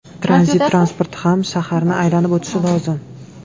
Tranzit transporti ham shaharni aylanib o‘tishi lozim.